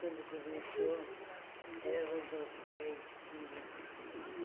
Quando começou, ela mandou ficar em fila.